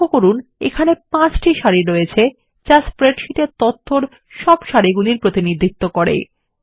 লক্ষ্য করুন এখানে 5টি সারি আছে যা আমাদের স্প্রেডশীটের তথ্যর মোট সারির প্রতিনিধিত্ব করে